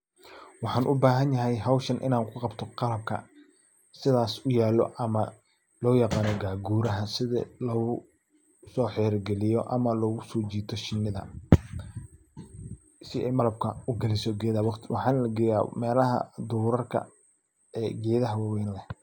Waxan ubahanyaxay xowshaan inan kuqabto qabka sidhas uyalo, ama loyagano gaguraha, sidhi logusoxiri galiyo ama logusojito shinida, si ay malabka u galiso gedaxa wagti, waxana lageya melaha durarka ee gedaxa wawen leh.